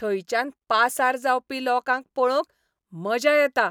थंयच्यान पासार जावपी लोकांक पळोवंक मजा येता.